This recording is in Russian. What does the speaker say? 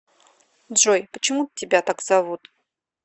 джой почему тебя так зовут